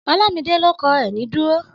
Ọlámidé ló kọ Ẹ̀ní dúró